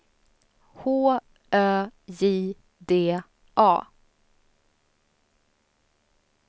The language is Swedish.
H Ö J D A